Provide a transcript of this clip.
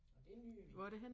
Og det en nydelig ø